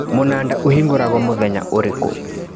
Mũnanda ũhingũragwo mũthenya ũrĩkũ